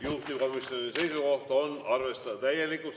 Juhtivkomisjoni seisukoht on arvestada täielikult.